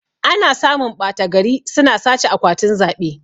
Ana samun ɓata gari suna sace akwatin zaɓe